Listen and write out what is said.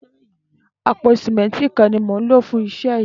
Àpó sìmẹntí kán ni mó n ló fùn iṣẹ yi